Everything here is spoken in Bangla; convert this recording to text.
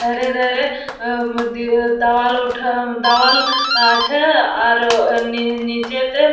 ধারে ধারে আ উৱব দেয়াল উঠা উমমম দেয়াল আছে আর নীচেতে--